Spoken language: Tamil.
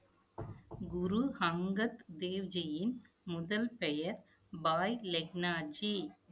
குரு ஹங்கத் தேவ்ஜியின், முதல் பெயர் பாய் லெக்னாஜி